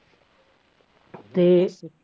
ਤੇ